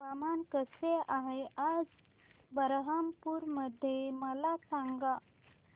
हवामान कसे आहे आज बरहमपुर मध्ये मला सांगा